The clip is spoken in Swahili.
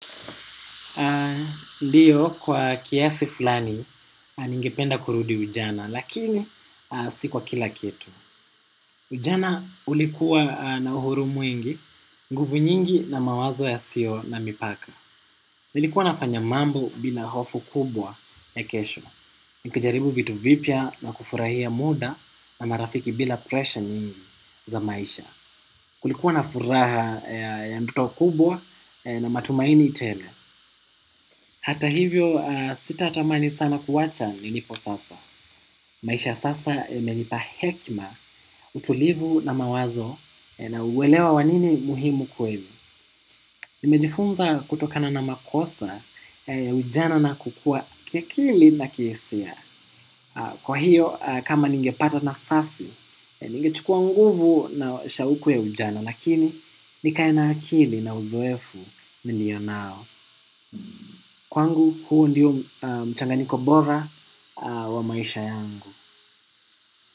Ndiyo kwa kiasi fulani ningependa kurudi ujana lakini si kwa kila kitu. Ujana ulikuwa na uhuru mwingi, nguvu nyingi na mawazo yasiyo na mipaka. Nilikuwa nafanya mambo bila hofu kubwa ya kesho. Nikijaribu vitu vipya na kufurahia muda na marafiki bila presha nyingi za maisha. Kulikuwa na furaha ya ndoto kubwa na matumaini tele. Hata hivyo sitatamani sana kuacha nilipo sasa. Maisha ya sasa yamenipa hekima utulivu na mawazo na uelewa wa nini muhimu kweli. Nimejifunza kutokana na makosa ya ujana na kukua kiakili na kihisia. Kwa hiyo kama ningepata nafasi, ningechukua nguvu na shauku ya ujana. Lakini nikae na akili na uzoefu nilio nao. Kwangu huu ndiyo mchanganyiko bora wa maisha yangu.